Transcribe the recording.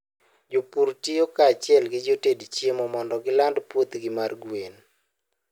Jopur tiyo kanyachiel gi joted chiemo mondo giland puothgi mar gwen.